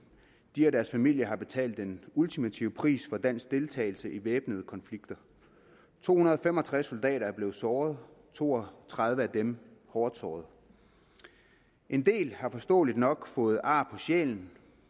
de og deres familier har betalt den ultimative pris for dansk deltagelse i væbnede konflikter to hundrede og fem og tres soldater er blevet såret to og tredive af dem hårdt såret en del har forståeligt nok fået ar på sjælen